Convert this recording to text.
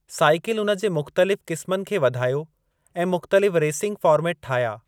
Cycle उन जे मुख़्तलिफ़ क़िस्मनि खे वधायो ऐं मुख़्तलिफ़ रेसिंग फ़ार्मेट ठाहिया।